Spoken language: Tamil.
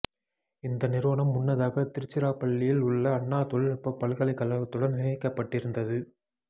இந்த நிறுவனம் முன்னதாக திருச்சிரப்பள்ளியில் உள்ள அண்ணா தொழில்நுட்ப பல்கலைக்கழகத்துடன் இணைக்கப்பட்டிருந்தது